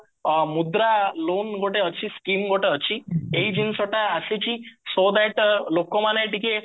ମୁଦ୍ରା loan ଗୋଟେ ଅଛି scheme ଗୋଟେ ଅଛି ଏଇ ଜିନିଷଟା ଆସିଛି so batter ଲୋକମାନେ ଟିକେ